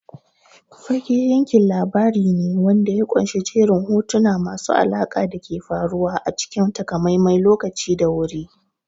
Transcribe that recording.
Fage yankin labari ne wanda ya ƙunshi jerin hotuna masu alaƙa da ke faruwa a cikin takamaiman lokaci da wuri.